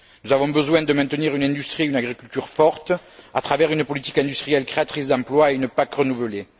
Nous avons besoin de maintenir une industrie et une agriculture fortes, à travers une politique industrielle créatrice d'emplois et une PAC renouvelée.